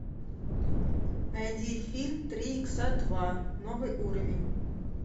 найди фильм три икса два новый уровень